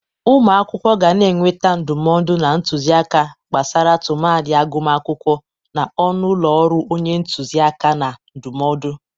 Ụmụ akwụkwọ ga na-enweta ndụmọdụ na ntuzi aka gbasara tụmadị agụmakwụkwọ n'ọnụ ụlọ ọrụ onye ntuzi aka na ndụmọdụ.